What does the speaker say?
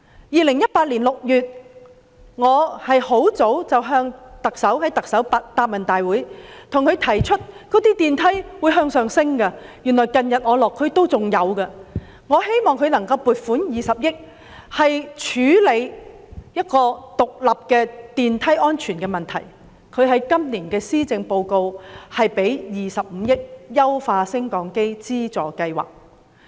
2018年6月，在行政長官答問會上，我向她提出升降機故障不斷上升的問題，而我近日落區仍見有此情況，我希望特首撥款20億元來獨立處理升降機的安全問題，而在今年的施政報告，她便撥款25億元推行"優化升降機資助計劃"。